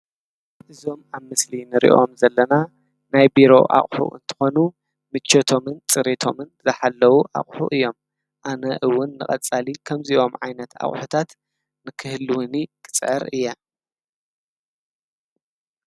እዞም ኣብ ምስሊ ንሪኦም ዘለና ናይ ቢሮ ኣቅሑ እንትኾኑ ምቸተሙን ፅሬቶምን ዝሓለው ኣቅሑ እዮም። ኣነ እውን ንቀፃሊ ከምዚኦም ዓይነታት ኣቁሕታት ንክህልውኒ ክፅዕር እየ።